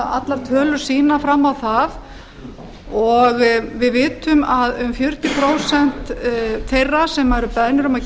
allar tölur sýna fram á það og við vitum að fjörutíu prósent þeirra sem eru beðnir um að